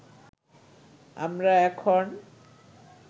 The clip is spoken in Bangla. আমরা এখন